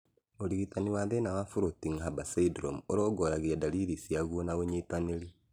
ũrigitani wa thĩna wa Floating Harbor syndrome ũrongoragĩria ndariri ciaguo na ũnyitĩrĩri